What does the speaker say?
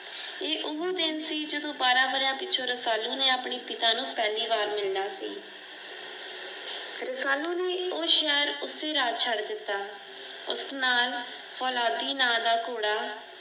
ਇਹ ਓਹ ਦਿਨ ਸੀ ਜਦੋਂ ਬਾਰਾਂ ਵਰਿਆਂ ਪਿੱਛੋਂ ਰਸਾਲੂ ਨੇ ਆਪਣੇ ਪਿਤਾ ਨੂੰ ਪਹਿਲੀ ਵਾਰ ਮਿਲਣਾ ਸੀ। ਰਸਾਲੂ ਨੇਂ ਓਹ ਸ਼ਹਿਰ ਉਸੇ ਰਾਤ ਛੱਡ ਦਿੱਤਾ। ਉਸ ਨਾਲ ਫੌਲਾਦੀ ਨਾਂ ਦਾ ਘੋੜਾ